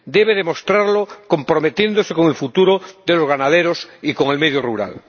debe demostrarlo comprometiéndose con el futuro de los ganaderos y con el medio rural.